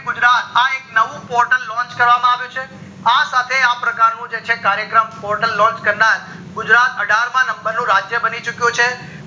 ગુજરાત આ નવું એક portal launch કરવા માં આવ્યું છે આ સાથે આ પ્રકારનું નું જે છે કાર્ય ક્રમ portal launch કરનાર ગુજરાત અઠાર માં portal launch નું રાજ્ય બની ચુક્યું છે